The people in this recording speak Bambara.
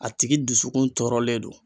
A tigi dusukun tɔɔrɔlen do